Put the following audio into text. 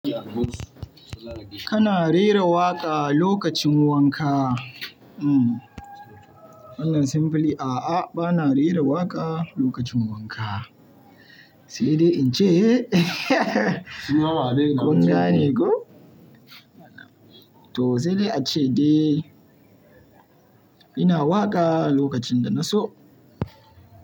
Kana rera waƙa lokacin wanka? Hmm. Wannan simply a'a bana rera waƙa lokacin wanka. Sai dai in ce kun gane ko? To sai dai ace dai ina waƙa lokacin da na so.